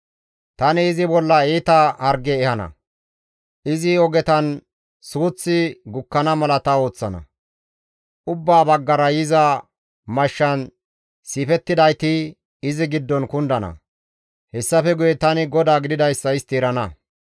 Tani izi bolla iita harge ehana; izi ogetan suuththi gukkana mala ta ooththana; Ubbaa baggara yiza mashshan siifettidayti, izi giddon kundana; hessafe guye tani GODAA gididayssa istti erana.